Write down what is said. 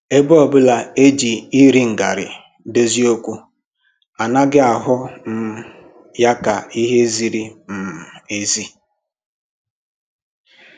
Ebe ọbụla e ji iri ngarị edozi okwu, anaghị ahụ um ya ka ihe ziri um ezi